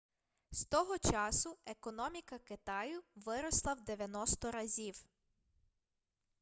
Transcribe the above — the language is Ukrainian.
з того часу економіка китаю виросла в 90 разів